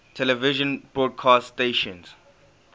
television broadcast stations